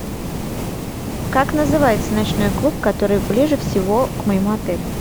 как называется ночной клуб который ближе всего к моему отелю